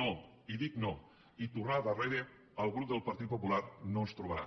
no i dic no i tornar darrere al grup del partit popular no ens hi trobarà